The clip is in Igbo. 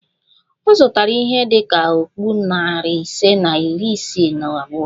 Ọ zụtara ihe dị ka okpu narị ise na iri isii na abụọ